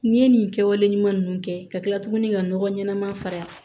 N'i ye nin kɛwale ɲuman ninnu kɛ ka kila tuguni ka nɔgɔ ɲɛnama fara